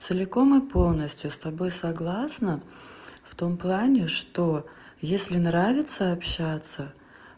целиком и полностью с тобой согласна в том плане что если нравится общаться